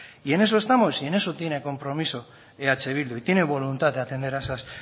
y en eso estamos y en eso tiene compromiso eh bildu y tiene voluntad de atender a esas